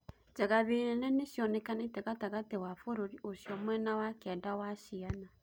Njagathi nene nĩcionekanĩte gatagatĩ wa bũrũri ũcio mwena Wa kianda wa Ciana